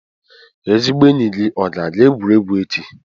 Ezigbo enyi gị ọ ga-aga egwuregwu echi?